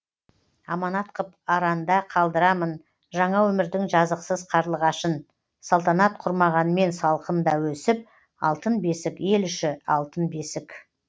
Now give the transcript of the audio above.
аманат қып аранда қалдырамын жаңа өмірдің жазықсыз қарлығашын салтанат құрмағанмен салқында өсіп алтын бесік ел іші алтын бесік